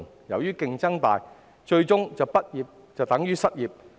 由於競爭大，最終畢業等於失業。